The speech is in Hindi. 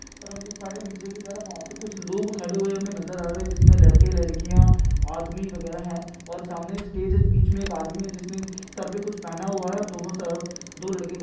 और हम देख पा रहे हैं नीचे की तरफ वहां पे कुछ लोग खड़े हुए हमे नजर आ रहे है जिसमें लड़के-लड़कियां आदमी वागेरा हैं और सामने एक स्टेज है इस बीच मे एक आदमी है जिसने सर पे कुछ पहना हुआ है और दोनों दो लड़के --